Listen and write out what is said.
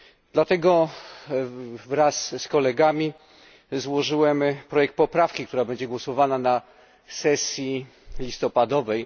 Dlatego wraz z kolegami złożyłem projekt poprawki, która będzie głosowana na sesji listopadowej.